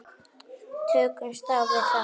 Tökumst á við það.